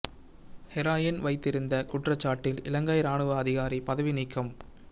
heroin வைத்திருந்த குற்றச் சாட்டில் இலங்கை இராணுவ அதிகாரி பதவி நீக்கம்